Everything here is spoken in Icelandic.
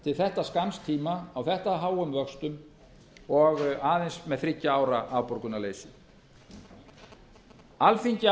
til þetta skamms tíma á þetta háum vöxtum og aðeins með þriggja ára afborgunarleysi alþingi